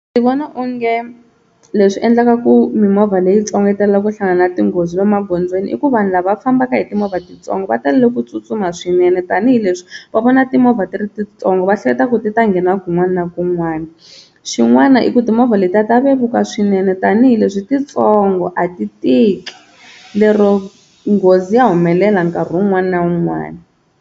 Ndzi vona onge leswi endlaka ku mimovha leyitsongo yi tala ku hlangana na tinghozi emagondzweni i ku vanhu lava fambaka hi timovha titsongo va tale ku tsutsuma swinene tanihileswi va vona timovha ti ri titsongo, va hleketa ku ku ti ta nghena kun'wana na kun'wana, xin'wana i ku timovha letiya ta vevuka swinene tanihileswi titsongo a ti tiki lero nghozi ya humelela nkarhi wun'wani na wun'wani.